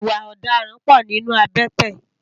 Iwã òdàrãn pò ninú àbèté